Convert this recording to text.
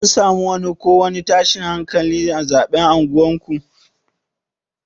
An samu ko wani tashin hankali na zaɓe a unguwar ku?